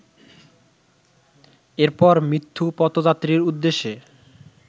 এরপর মৃত্যুপথযাত্রীর উদ্দেশে